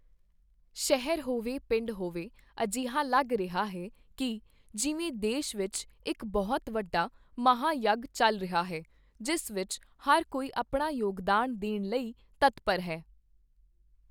ਸ਼ਹਿਰ ਹੋਵੇ, ਪਿੰਡ ਹੋਵੇ, ਅਜਿਹਾ ਲੱਗ ਰਿਹਾ ਹੈ ਕਿ ਜਿਵੇਂ ਦੇਸ਼ ਵਿੱਚ ਇੱਕ ਬਹੁਤ ਵੱਡਾ ਮਹਾਂ ਯੱਗ ਚੱਲ ਰਿਹਾ ਹੈ, ਜਿਸ ਵਿੱਚ ਹਰ ਕੋਈ ਆਪਣਾ ਯੋਗਦਾਨ ਦੇਣ ਲਈ ਤਤਪਰ ਹੈ।